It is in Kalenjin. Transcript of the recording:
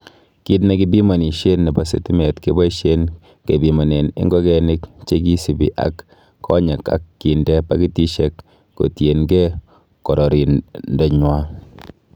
Kit nekipimonisien nebo sitimet keboishen kebimonen ingigenik chekisibii ak konyek ak kinde pakitisiek kotienge kororonindanywan.